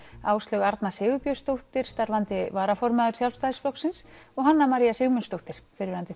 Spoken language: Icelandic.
Áslaug Arna Sigurbjörnsdóttir starfandi varaformaður Sjálfstæðisflokksins og Hanna María Sigmundsdóttir fyrrverandi